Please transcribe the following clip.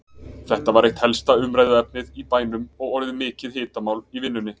Þetta var eitt helsta umræðuefnið í bænum og orðið mikið hitamál í vinnunni.